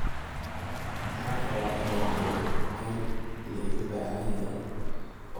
“Waxaan rabaa inaan joogo meel la iiga baahan yahay oo la igu ixtiraamo.